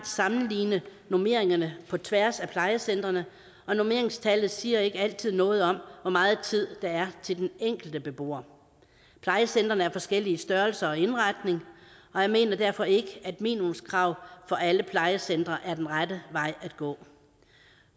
sammenligne normeringerne på tværs af plejecentrene og normeringstallet siger ikke altid noget om hvor meget tid der er til den enkelte beboer plejecentrene er af forskellige størrelser og indretning og jeg mener derfor ikke at minimumskrav for alle plejecentre er den rette vej at gå